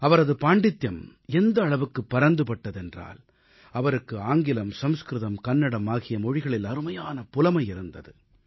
அவரது பாண்டித்தியம் எந்த அளவுக்கு பரந்துபட்டது என்றால் அவருக்கு ஆங்கிலம் சம்ஸ்கிருதம் கன்னடம் ஆகிய மொழிகளில் அருமையான புலமை இருந்தது